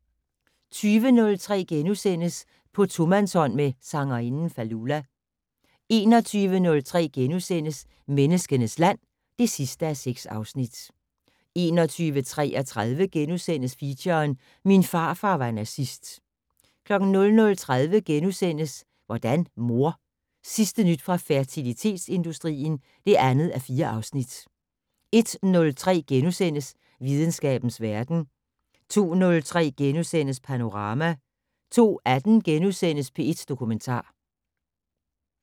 20:03: På tomandshånd med sangerinden Fallulah * 21:03: Menneskenes land (6:6)* 21:33: Feature: Min farfar var nazist * 00:30: Hvordan mor? Sidste nyt fra fertilitetsindustrien (2:4)* 01:03: Videnskabens verden * 02:03: Panorama * 02:18: P1 Dokumentar *